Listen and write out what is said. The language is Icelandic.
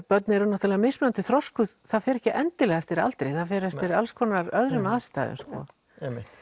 börn eru svo mismunandi þroskuð það fer ekki endilega eftir aldri það fer eftir alls konar öðrum aðstæðum sko